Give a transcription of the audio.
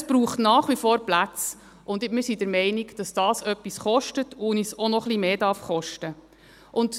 Es braucht nach wie vor Plätze, und wir sind der Meinung, dass das etwas kostet und uns auch noch etwas mehr kosten darf.